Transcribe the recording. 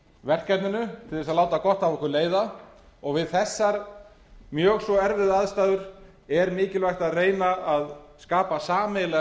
verkefninu til þess að láta gott af okkur leiða og við þessar mjög svo erfiðu aðstæður er mikilvægt að reyna að skapa sameiginlega